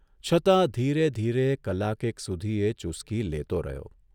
છતાં ધીરે ધીરે કલાકેક સુધી એ ચુસ્કી લેતો રહ્યો.